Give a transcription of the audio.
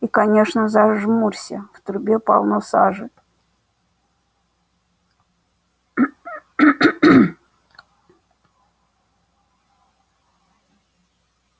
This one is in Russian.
и конечно зажмурься в трубе полно сажи